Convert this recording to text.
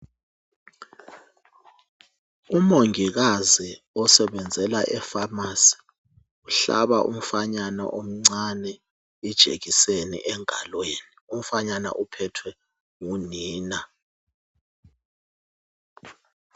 Umongikazi osebenzela ephamacy uhlaba umfanyana omcani ijekiseni enkulu engalweni umfana uphethwe ngunina